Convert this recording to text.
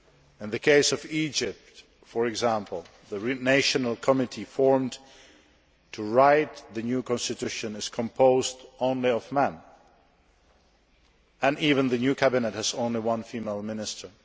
In the case of Egypt, for example, the national committee formed to write the new constitution is composed only of men, and even the new cabinet has only one female minister.